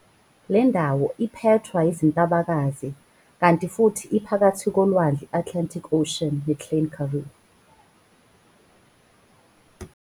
Lendawo iphethwa izintabakazi kanti futhi iphakathi kolwandle iAtlantic ocean ne Klein Karoo.